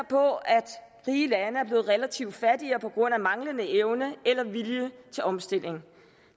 på at rige lande er blevet relativt fattigere på grund af manglende evne eller vilje til omstilling